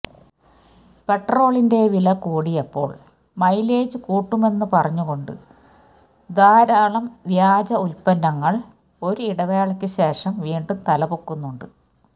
പെട്രോളിന്റെ വില കൂടിയപ്പോള് മൈലേജ് കൂട്ടുമെന്ന് പറഞ്ഞുകൊണ്ട് ധാരാളം വ്യാജ ഉല്പന്നങ്ങള് ഒരു ഇടവേളയ്ക്ക് ശേഷം വീണ്ടും തലപൊക്കുന്നുണ്ട്